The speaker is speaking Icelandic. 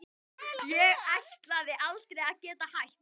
Ég ætlaði aldrei að geta hætt.